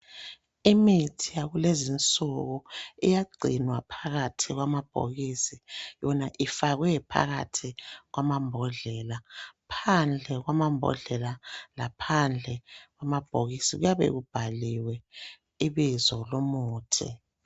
Imithi yakulezi insuku iyagcinwa phakathi kwamabhokisi. Yona ifakwe phakathi kwamambodlela. Phandle kwamambodlela, laphandle kwamabhokisi, kuyabe kubhaliwe ibizo lomuthi.